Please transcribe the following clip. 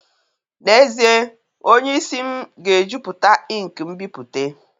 N'ezie, onye isi m ga-ejupụta ink nbipute